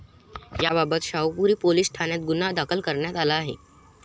याबाबत शाहुपुरी पोलीस ठाण्यात गुन्हा दाखल करण्यात आला आहे.